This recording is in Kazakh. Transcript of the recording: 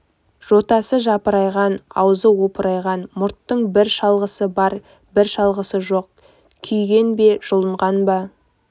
жотасы жапырайған аузы опырайған мұрттың бір шалғысы бар бір шалғысы жоқ күйген бе жұлынған ба